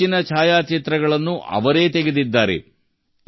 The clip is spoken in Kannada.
ಈ ಹೆಚ್ಚಿನ ಛಾಯಾಚಿತ್ರಗಳನ್ನು ಅವರೇ ತೆಗೆದಿದ್ದಾರೆ